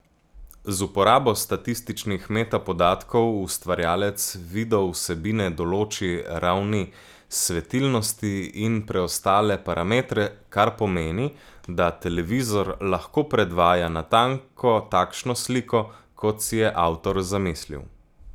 Z uporabo statičnih metapodatkov ustvarjalec videovsebine določi ravni svetilnosti in preostale parametre, kar pomeni, da televizor lahko predvaja natanko takšno sliko, kot si je avtor zamislil.